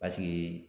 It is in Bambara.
Paseke